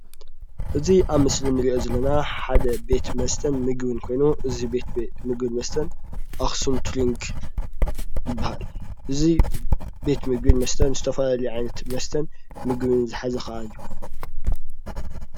እዚ ኣብ ስእሊ ንርኦ ዝለና ሓደ ቤት መስተን ምግብን ኮይኑ እዚ ቤት ምግብ መስትን ኣኸሱም ቱርንግ ይበሃል። እዚ ቤት ምግብን መስተን ዝተፈላለዩ ዓይነት መስተን ምግቢ ዝሓዘ ከዓ እዩ።